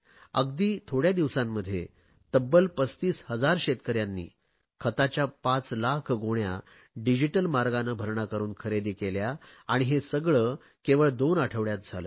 अगदी थोडया दिवसांमध्ये तब्बल 35000 शेतकऱ्यांनी खताच्या पाच लाख गोण्या डिजिटल मार्गाने भरणा करुन खरेदी केल्या आणि हे सगळे केवळ दोन आठवडयात झाले